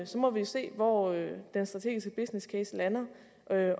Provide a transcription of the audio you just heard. så må vi jo se hvor den strategiske business case lander